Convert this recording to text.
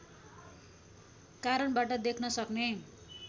कारणबाट देख्न सक्ने